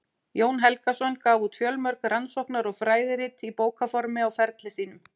Jón Helgason gaf út fjölmörg rannsóknar- og fræðirit í bókarformi á ferli sínum.